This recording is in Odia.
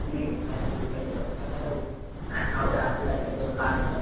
ହୁଁ certificate ଟା ଦରକାର ଆଉ। ଆ ଆଉ ଗୋଟେ apply କରିଦବ pan card।